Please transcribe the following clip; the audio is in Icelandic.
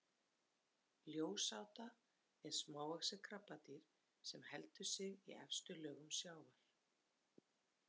Ljósáta er smávaxið krabbadýr sem heldur sig í efstu lögum sjávar.